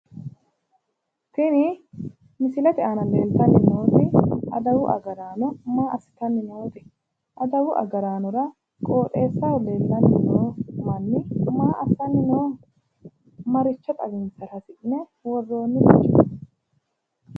tini misilete aana leeltanni nooti adawu agaraano maa assitanni noote? adawu agaraanora qooxeessaho leellanni noo manni maa assanni nooho? maricho xawinsara hasi'ne worroonnireeti?